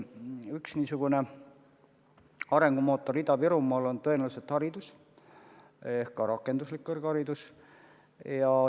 Üks niisugune arengumootor Ida-Virumaal on tõenäoliselt haridus, ka rakenduslik kõrgharidus.